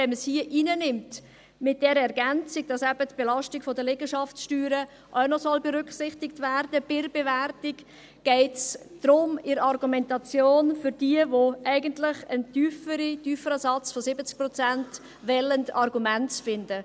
Wenn man es aber hier hineinnimmt – mit der Ergänzung, wonach eben die Belastung der Liegenschaftssteuer bei der Bewertung auch noch berücksichtigt werden soll –, geht es bei der Argumentation darum, für jene, die eigentlich einen tieferen Satz von 70 Prozent wollen, Argumente zu finden.